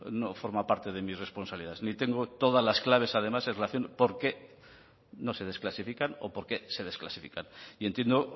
no forma parte de mis responsabilidades ni tengo todas las claves además en relación porqué no se desclasifican o porqué se desclasifican y entiendo